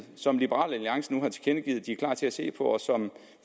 som liberal alliance nu har tilkendegivet at de er klar til at se på